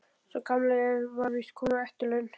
Sá gamli var víst kominn á eftirlaun.